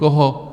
Koho?